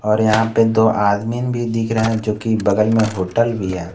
और यहां पे दो एडमिन भी दिख रहे हैं और बगल में दो होटल भी है।